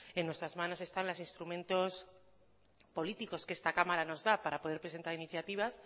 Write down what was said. en nuestras manos están los instrumentos políticos que esta cámara nos da para poder presentar iniciativas